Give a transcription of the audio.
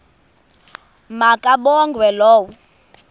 ma kabongwe low